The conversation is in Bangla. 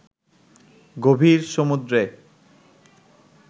গভীর সমুদ্রে